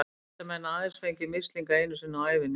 Því geta menn aðeins fengið mislinga einu sinni á ævinni.